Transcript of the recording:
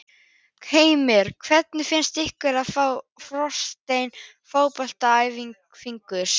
Heimir: Hvernig finnst ykkur að fá forsetann á fótboltaæfingu?